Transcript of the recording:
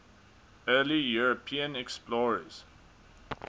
early european explorers